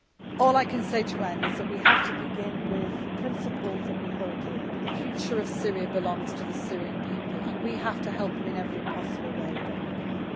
forward. All I can say to end is that we have to begin with the principles that we hold dear, that the future of Syria belongs to the Syrian people, and we have to help them in every possible way that